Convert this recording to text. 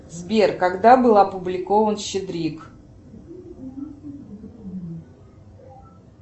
сбер когда был опубликован щедрик